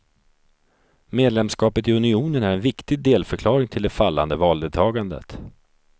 Medlemskapet i unionen är en viktig delförklaring till det fallande valdeltagandet.